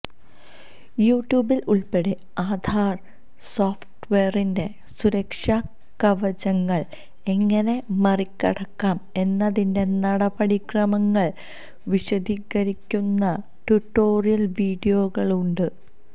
യൂട്യൂബില് ഉള്പ്പെടെ ആധാര് സോഫ്റ്റ്വെയറിന്റെ സുരക്ഷാ കവചങ്ങള് എങ്ങനെ മറികടക്കാം എന്നതിന്റെ നടപടിക്രമങ്ങള് വിശദീകരിക്കുന്ന ടൂട്ടോറിയല് വീഡിയോകളുണ്ട്